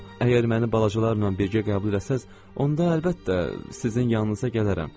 Onda, əgər məni balacalarla birgə qəbul eləsəz, onda əlbəttə sizin yanınıza gələrəm.